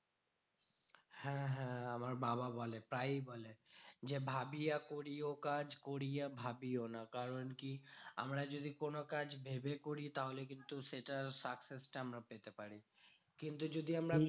হ্যাঁ হ্যাঁ আমার বাবা বলে প্রায়ই বলে। যে ভাবিয়া করিও কাজ করিয়া ভাবিও না। কারণ কি? আমরা যদি কোনো কাজ ভেবে করি তাহলে কিন্তু সেটা success টা আমরা পেতে পারি। কিন্তু যদি আমরা